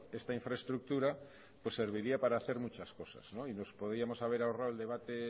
esta infraestructura pues serviría para hacer muchas cosas y nos podíamos haber ahorrado el debate